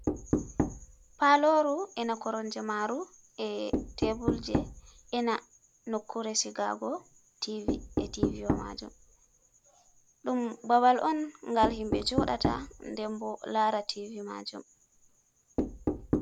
Paloru ina koromje maru e tebul je ina nokkure sigasgo TV e TV wa majum dum babal on gal himbe jodata nden bo laara tv majum.